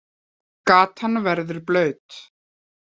Gatan verður blaut.